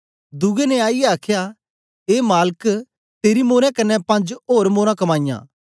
दुए ने आईयै आखया ए मालक तेरी मोरें कन्ने पंज ओर मोरां कमाईयां